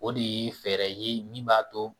O de ye fɛɛrɛ ye min b'a to